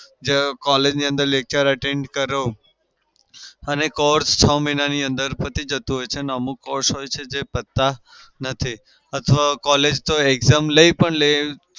collage ની અંદર lecture attend કરો અને course છ મહિનાની અંદર પતી જતું હોય છે અને અમુક course હોય છે જે પતતા નથી અથવા collage તો exam પણ લે